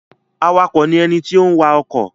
Awakọ̀ ni ẹni tó ń wa ọkọ̀.